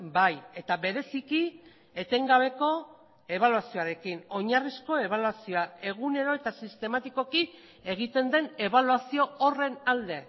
bai eta bereziki etengabeko ebaluazioarekin oinarrizko ebaluazioa egunero eta sistematikoki egiten den ebaluazio horren alde